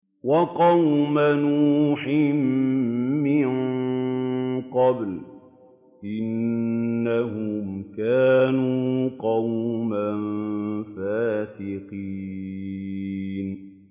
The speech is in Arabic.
وَقَوْمَ نُوحٍ مِّن قَبْلُ ۖ إِنَّهُمْ كَانُوا قَوْمًا فَاسِقِينَ